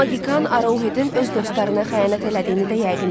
Maqikan Arouhedin öz dostlarına xəyanət elədiyini də yəqin eləyib.